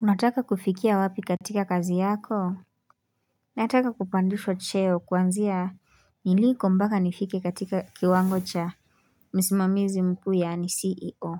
Unataka kufikia wapi katika kazi yako? Nataka kupandishwa cheo kuanzia niliko mpaka nifike katika kiwango cha msimamizi mkuu yaani CEO.